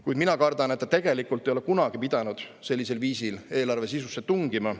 Kuid mina kardan, et ta tegelikult ei ole kunagi pidanud sellisel viisil eelarve sisusse tungima.